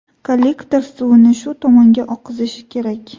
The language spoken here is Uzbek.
Kollektor suvini shu tomonga oqizish kerak.